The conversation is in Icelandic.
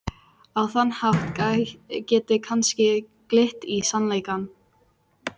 Á þann hátt geti kannski glitt í sannleikann.